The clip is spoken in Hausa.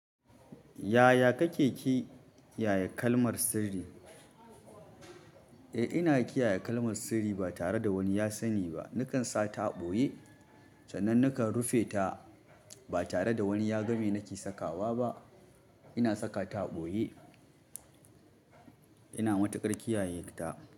Yaya kake ki yaye kalmar sirri? Eh ina kiyaye kalmar sirri ba tare da wani ya sani ba. Nakan sa ta a ɓoye sannan nakan rufe ta ba tare da wani yaga me nake sakawa ba. Ina saka ta a ɓoye. Ina matuƙar kiyayeta.